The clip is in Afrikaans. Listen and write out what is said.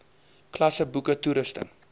klasse boeke toerusting